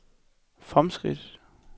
fremskridt